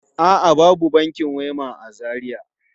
A'a, babu bankin Wema a Najeriya.